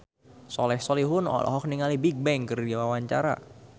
Soleh Solihun olohok ningali Bigbang keur diwawancara